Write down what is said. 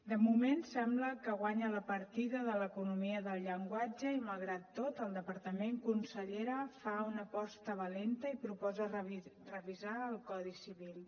de moment sembla que guanya la partida l’economia del llenguatge i malgrat tot el departament consellera fa una aposta valenta i proposa revisar el codi civil